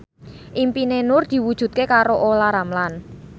impine Nur diwujudke karo Olla Ramlan